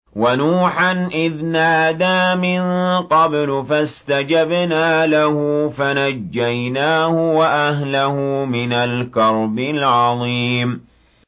وَنُوحًا إِذْ نَادَىٰ مِن قَبْلُ فَاسْتَجَبْنَا لَهُ فَنَجَّيْنَاهُ وَأَهْلَهُ مِنَ الْكَرْبِ الْعَظِيمِ